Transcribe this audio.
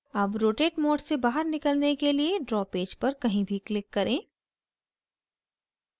अब rotate mode से बाहर निकलने के लिए draw पेज पर कहीं भी click करें